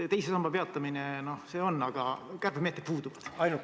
Teise samba peatamine on, aga kärpemeetmed puuduvad.